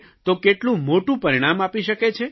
તો કેટલું મોટું પરિણામ આપી શકે છે